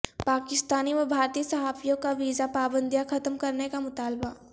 پاکستانی و بھارتی صحافیوں کا ویزا پابندیاں ختم کرنے کا مطالبہ